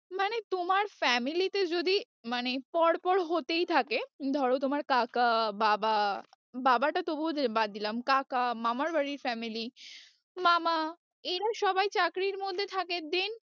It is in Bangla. মানে তোমার family তে যদি মানে পর পর হতেই থাকে ধরো তোমার কাকা বাবা, বাবাটা তবুও বাদ দিলাম, কাকা মামার বাড়ির family মামা এরা সবাই চাকরির মধ্যে থাকে then